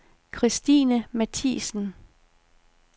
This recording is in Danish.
Christine Matthiesen